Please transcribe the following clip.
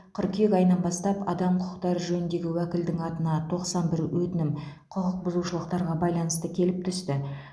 қыркүйек айынан бастап адам құқықтары жөніндегі уәкілдің атына тоқсан бір өтінім құқықбұзушылықтарға байланысты келіп түсті